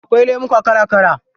Akwai lemuka kala kala.